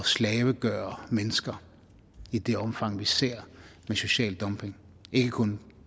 slavegøre mennesker i det omfang vi ser med social dumping ikke kun